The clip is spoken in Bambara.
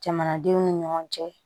Jamanadenw ni ɲɔgɔn cɛ